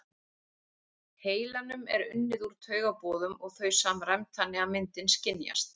heilanum er unnið úr taugaboðum og þau samræmd þannig að myndin skynjast.